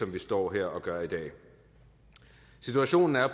vi står her og gør i dag situationen er